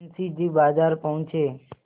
मुंशी जी बाजार पहुँचे